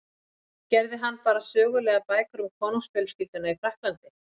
Gerði hann bara sögulegar bækur um konungsfjölskylduna í Frakklandi?